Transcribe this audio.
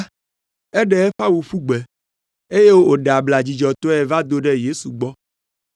Eɖe eƒe awu ƒu gbe, eye wòɖe abla dzidzɔtɔe va do ɖe Yesu gbɔ.